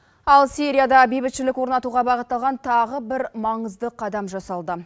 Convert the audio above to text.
ал сирияда бейбітшілік орнатуға бағытталған тағы бір маңызды қадам жасалды